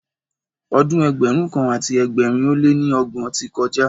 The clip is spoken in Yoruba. Ọdún Ẹgbẹ̀rún kan àti ẹgbẹ̀rin ó lé ní ọgbọ̀n ti kọjá.